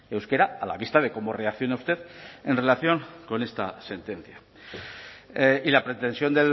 euskera a la vista de cómo reacciona usted en relación con esta sentencia y la pretensión